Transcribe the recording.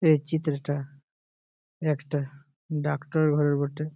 এই চিত্রটা একটা ডাক্তার ঘর বটে।